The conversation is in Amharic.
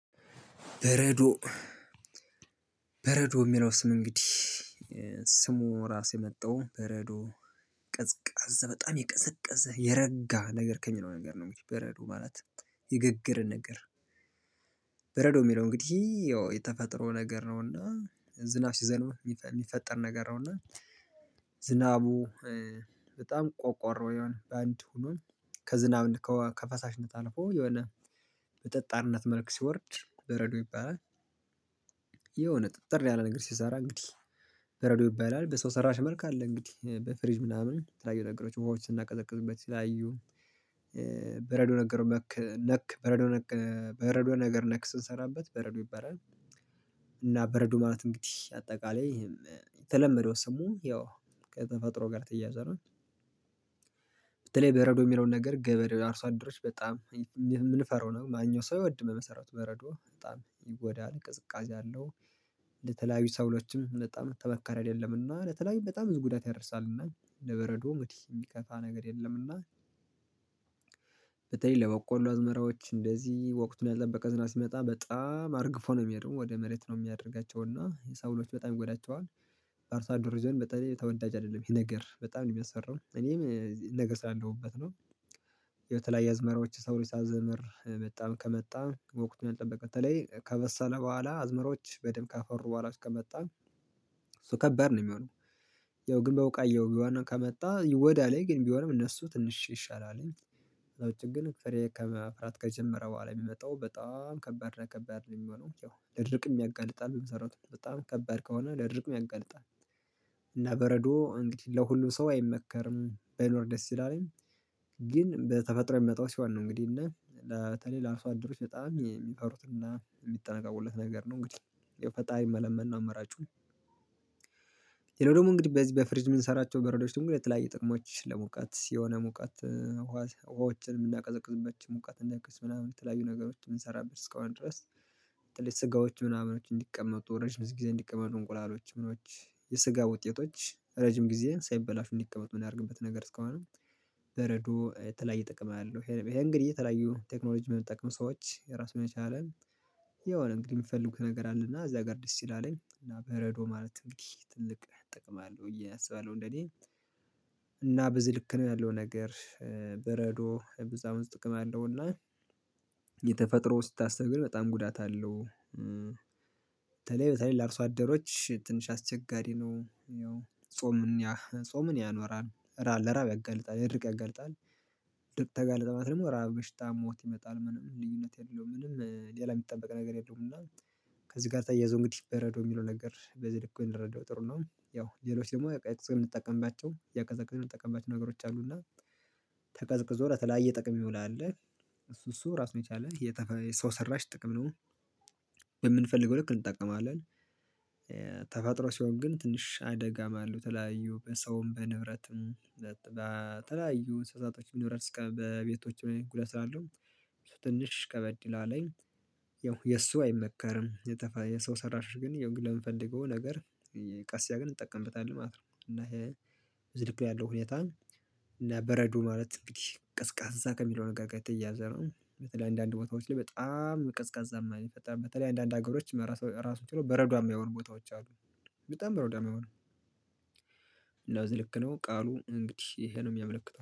በረዶ የሚለው ስም እንግዲህ ስሙ ራስ የመጣው በረዶ ቀዝቃዛ በጣም የቀዘቀዘ የረጋ ነገር ከሚለው ነገር ነው በረዶ ማለት የገገረ ነገር። በረዶ የሚለው እንግዲህ ያው የተፈጠሮ ነገር ነውና ዝናብ ሲዘንብ የሚፈጠር ነገር ነውና እና ዝናቡ በጣም ቆቆሮ የሆነ በአንድ ሆኖ ከዝናብ ከፈሳሽነት አልፎ የሆነ በጠጣርነት መልክ ሲወርድ በረዶ ይባላል። የሆነ ጥጥር ያለ ነገር ሲሰራ እንግዲህ በረዶ ይባላል በሰው ሰራሽ መልኩ አለ እንግዲህ በፍሪጅ ምናምን የተለያዩ ነገሮች ውሃዎች ስናቀዘቅዝበት በተለያዮ ነገር ነክ በረዶ ነክ በረዶ ነገር ነክ ስንሰራበት በረዶ ይባላል። እና በረዶ ማለት እንግዲህ አጠቃላይ የተለመደው ሰሙ ያው ከተፈጥሮ ጋር ተያያዘ ነው። በተለይ በረዶ የሚለውን ነገር ገበሬው አርሶ አድሮች በጣም የምንፈራው ነው ማንኛውም ሰው አይወድ በመሰረቱ በረዶ በጣም ይጎዳል ቅዝቃዜ አለው። ለተለያዩ ሰብሎችም በጣም ተመካሪ አይደለምና ለተለያዩ በጣም ጉዳት ያደርሳልና ለበረዶ እንግዲህ የሚከፋ ነገር የለም። እና በተለይ ለበቆሉ አዝመራዎች እንደዚህ ወቅቱን ያልተጠበቀ ዝናብ ሲመጣ በጣም አርግፎ ነው የሚሄደው ወደ መሬት ነው የሚያደርጋቸው እና ለሰብሎች በጣም ጎዳቸዋል። በአርሶአደር ዘንድ በተለይ ተወዳጅ አይደለም ይሄ ነገር በጣም ነው የሚያስፈራው እኔም ይሄ ነገር ስላለሁበት ነው። የተለያየ አዝመራዎች ሳብሉ ሲያዘመር በጣም ከመጣ በወቅቱ ያልጠበቀ በተለይ ከበሰለ በኋላ አዝመሮች በደንብ ካፈሩ በኋላ እስከመጣ እሱ ከበድ ነው የሚሆነው። ያው ግን በውቃያው ቢሆን ከመጣ ይጎዳሉ ግን ቢሆንም እነሱ ትንሽ ይሻላል። ለውጡ ግን ጥሬ እቃ ማፍራት ከጀመረ በኋላ የሚመጣው በጣም ከበድ ከበባድ ነው የሚሆነው ያው ለድርቅም ያጋልጣል። በጣም ከበድ ከሆነ ለድርቅም ያጋልጣል። እና በረዶ እንግዲህ ለሁሉም ሰው አይመከርም ባይኖር ደስ ይላል። ግን በተፈጥሮ የሚመጣው ሲሆን ነው እንግዲህ እና በተለይ ለአርሶአደሮች በጣም የሚፈሩት እና የሚጠነቀቊለት ነገር ነው። እንግዲህ የፈጣሪን መለመን አማራጬ። ሌላው ደግሞ እንግዲህ በፍሪጅ የምንሰራቸው በረዶች ድግሞ የተለያየ ጥቅሞች ለሙቀት የሆነ መውቀት ውሃዎችን የሚያቀዘቅዝበት መቀት እንዲቀንስ ምናምን የተለያዩ ነገሮች የምንሰራበት እስከሆነ ድረስ። ትልቅ ስጋዎች ምናምን እንዲቀመጡ ረጅም ጊዜ እንዲቀመጡ እንቁላሎች ምኖች የስጋ ውጤቶች ረጅም ጊዜ ሳይበላሹ እንዲቀመጥ የምናደርግበት ነገር እስከሆነ። በረዶ የተለያየ ጥቅም አለው። ይሄ እንግዲህ የተለያየ ቴክኖሎጂ በሚጠቀም ሰዎች ራሱን የቻለ የሆነ እንግዲህ የምትፈልጉት ነገር አለና እዚያ ጋር ደስ ይላለኝ በረዶ ማለትም እንዲህ ትልቅ ጥቅም አለው ብዪ አስባለሁ እንደኔ። እና በዚህ ልክ ነው ያለው ነገር በረዶ ብዙ ጥቅም አለውና። የተፈጥሮ ስታስብ ግን በጣም ጉዳት አለው። በተለይ በተለይ ለአርሶ አደሮች ትንሽ አስቸጋሪ ነው ያው ጾምን ጾምን ያኖራል ለራብ ያጋልጣል ለድርቅ ያጋልጣል። ድርቅ ተጋለጠ ማለት ደግሞ ራብ፣ በሽታ፣ ሞት ይመጣል ምንም ልዩነት የለውም ምንም ሌላ የሚጠበቅ ነገር የለውም። እና ከዚህ ጋር ታየዋለህ እንግዲህ በረዶ የሚለው ነገር በዚ ልክ ብንረዳው ጥሩ ነው። ያው ሌሎች ደግሞ እያቀዘቀዝን ምንጠቀምባቸው ነገሮች አሉና። ተቀዝቅዞ ለተለያየ ጥቅም ይውላል። እሱ ራሱ የቻለ የተፈ የሰው ሰራሽ ጥቅም ነው። የምንፈልገው ልክ እንጠቀማለን። ተፋጥሮ ሲሆን ግን ትንሽ አደጋም አለው ተለያዩ በሰውም በንብረትም በተለያዩ እንስሳቶችም ንብረት እስከ በቤቶቹ ጉዳት ስላለው ትንሽ ከበድ ይላል። የእሱ አይመከርም። የሰው ሰራሽ ግን ያው ለምንፈልገው ነገር ቀስ ያልን እጠቀምበታለሁ ማለት ነው። እና ይሄ ብዙ ልክ ነው ያለው ሁኔታ። እና በረዶ ማለት እንግዲህ ቀዝቃዛ ከሚለው ነገር ጋር የተያዘው በተለይ አንዳንድ ቦታዎች ላይ በጣም ቀዝቃዛማ ነው ይፈጥራል በተለይ አንዳንድ ሀገሮች ራሱ ራሱ ችሎ በረዷ የሆኑ ቦታዎች አሉ። በጣም በረዶም የሚሆነው በዚ ልክ ነው ቃሉ እንግዲህ ይሄ ነው የሚያመለክተው